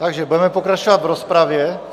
Takže budeme pokračovat v rozpravě.